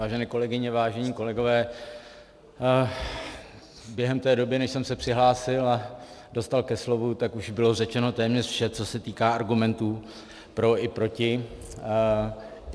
Vážené kolegyně, vážení kolegové, během té doby, než jsem se přihlásil a dostal ke slovu, tak už bylo řečeno téměř vše, co se týká argumentů pro i proti.